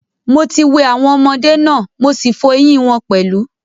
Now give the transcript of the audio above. Mo ti wẹ̀ awọn ọmọdé náà, mo sí fọ eyín wọn pẹ̀lú.